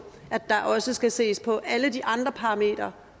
at der også skal ses på alle de andre parametre